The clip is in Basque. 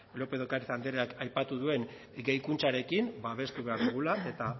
lópez de ocariz andreak aipatu duen gehikuntzarekin babestu behar dugula eta